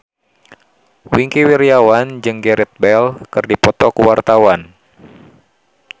Wingky Wiryawan jeung Gareth Bale keur dipoto ku wartawan